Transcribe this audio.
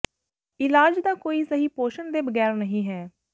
ਇਲਾਜ ਦਾ ਕੋਈ ਸਹੀ ਪੋਸ਼ਣ ਦੇ ਬਗੈਰ ਨਹੀ ਹੈ